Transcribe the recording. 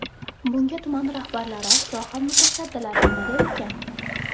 Bunga tuman rahbarlari, soha mutasaddilari nima der ekan?